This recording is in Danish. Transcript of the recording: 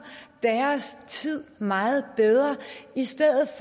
deres tid meget bedre i stedet